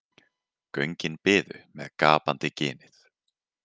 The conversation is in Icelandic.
Göngin biðu með gapandi ginið.